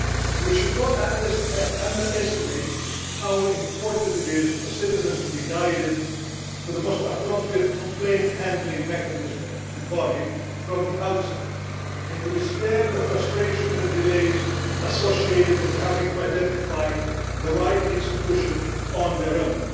We should not underestimate how important it is for citizens to be guided to the most appropriate complaint handling mechanism and body from the outset and to be spared the frustrations and delays associated with having to identify the right institution on their own.